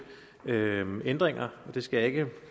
ændringer det skal jeg ikke